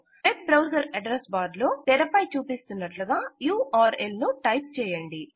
web browser address bar లో తెరపై చూపిస్తున్నట్టుగా ఉర్ల్ ను టైప్ చేయండి